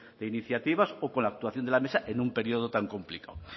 de iniciativas o con la actuación de la mesa en un periodo tan complicado